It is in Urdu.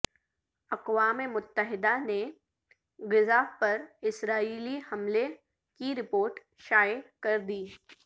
اقوام متحدہ نے غزہ پر اسرائیلی حملے کی رپورٹ شائع کر دی